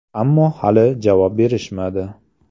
– Ammo hali javob berishmadi.